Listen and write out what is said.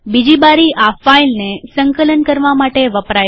બીજી બારી આ ફાઈલને સંકલન કરવા માટે વપરાય છે